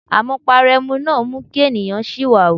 Amupara ẹmu máa ń mú kí ènìyàn siwawu.